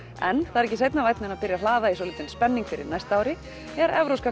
en það er ekki seinna vænna að byrja að hlaða í svolítinn spenning fyrir næsta ári þegar Evrópska